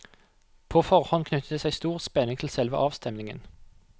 På forhånd knyttet det seg stor spenning til selve avstemningen.